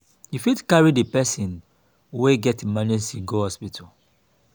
you fit carry di person wey get emergency go hospital